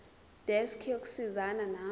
desk yokusizana nawe